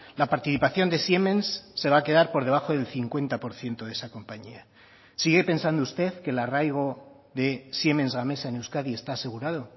la participación de siemens se va a quedar por debajo del cincuenta por ciento de esa compañía sigue pensando usted que el arraigo de siemens gamesa en euskadi está asegurado